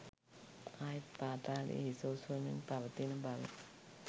ආයෙත් පාතාලය හිස ඔසවමින් පවතින බව